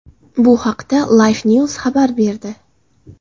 Bu haqda Lifenews xabar berdi .